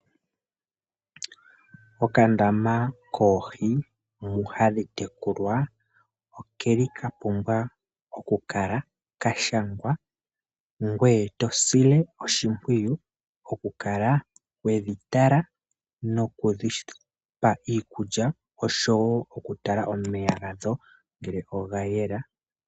Okandama koohi mu hadhi tekulilwa oke li ka pumbwa oku kala ka shangwa, ngweye to si oshimpwiyu oku kala we dhi tala noku dhi pa iikulya osho wo okutala omeya gadho ngele oga yela.